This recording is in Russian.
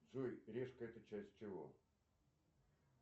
джой решка это часть чего